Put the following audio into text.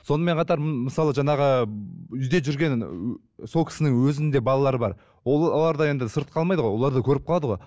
сонымен қатар мысалы жаңағы ыыы үйде жүрген сол кісінің өзінде балалары бар олар да енді сырт қалмайды ғой олар да көріп қалады ғой